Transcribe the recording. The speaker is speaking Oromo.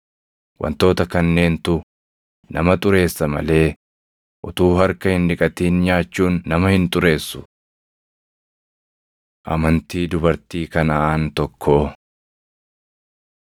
Wantoota kanneentu nama ‘xureessa’ malee utuu harka hin dhiqatin nyaachuun nama hin xureessu.” Amantii Dubartii Kanaʼaan Tokkoo 15:21‑28 kwf – Mar 7:24‑30